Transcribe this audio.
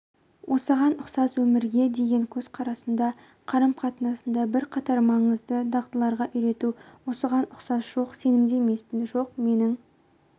осыған ұқсас өмірге деген көзқарасында қарым-қатынасында бірқатар маңызды дағдыларға үйрету осыған ұқсас жоқ сенімді емеспін жоқ менің